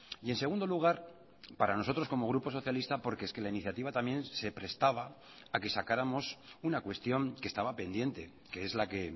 y en segundo lugar para nosotros como grupo socialista porque es que la iniciativa también se prestaba a que sacáramos una cuestión que estaba pendiente que es la que